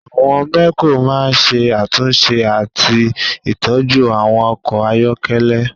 Àwọn mẹ́kò máa ń ṣe àtúnṣe àti ìtọ́jú àwọn ọkọ̀ ayọ́kẹ́lẹ́